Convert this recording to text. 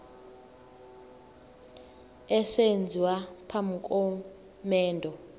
esenziwa phambi komendo